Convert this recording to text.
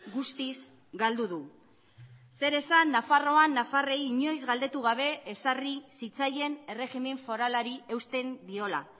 guztiz galdu du zer esan nafarroan nafarrei inoiz galdetu gabe ezarri zitzaien erregimen foralari eusten diola